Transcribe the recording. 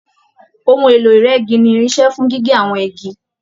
Òhun èlò ìrẹ́gi ní irinṣẹ́ fún gígé àwọn igi.